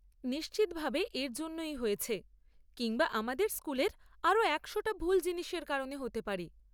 নিশ্চিত ভাবে এর জন্যই হয়েছে, কিংবা আমাদের স্কুলের আরও একশোটা ভুল জিনিসের কারণে হতে পারে।